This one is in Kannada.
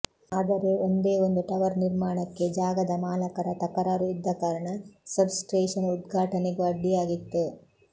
ಆದರೆ ಒಂದೇ ಒಂದು ಟವರ್ ನಿರ್ಮಾಣಕ್ಕೆ ಜಾಗದ ಮಾಲಕರ ತಕರಾರು ಇದ್ದ ಕಾರಣ ಸಬ್ಸ್ಟೇಶನ್ ಉದ್ಘಾಟನೆಗೂ ಅಡ್ಡಿಯಾಗಿತ್ತು